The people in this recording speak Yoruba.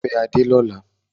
Wà á fẹ́ Adé lọ́la!